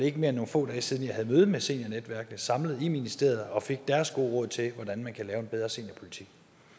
ikke mere end nogle få dage siden jeg havde møde med seniornetværkene samlet i ministeriet og fik deres gode råd til hvordan man kan lave en bedre seniorpolitik